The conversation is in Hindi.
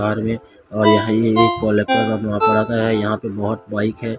कार में यहां एक यहां पे बहोत बाइक हैं।